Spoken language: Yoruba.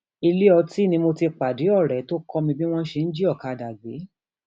ilé ọtí ni mo ti pàdé ọrẹ tó kọ mi bí wọn ṣe ń jí ọkadà gbé